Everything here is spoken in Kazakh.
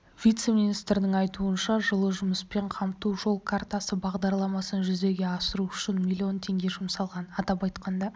вице-министрдің айтуынша жылы жұмыспен қамту жол картасы бағдарламасын жүзеге асыру үшін миллион теңге жұмсалған атап айтқанда